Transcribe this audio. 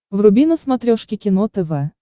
вруби на смотрешке кино тв